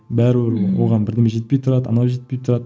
бәрібір оған бірдеме жетпей тұрады анау жетпей тұрады